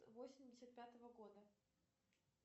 восемьдесят пятого года